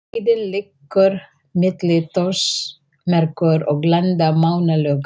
Leiðin liggur milli Þórsmerkur og Landmannalauga.